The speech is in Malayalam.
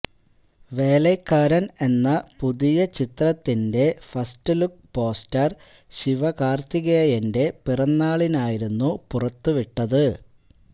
വേലൈക്കാരന് എന്ന പുതിയ ചിത്രത്തിന്റെ ഫസ്റ്റ്ലുക്ക് പോസ്റ്റര് ശിവകാര്ത്തികേയന്റെ പിറന്നാളിനായിരുന്നു പുറത്ത് വിട്ടത്